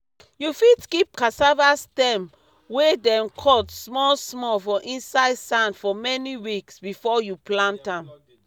you fit keep cassava stem wey dem cut small small for inside sand for many weeks before you plant am.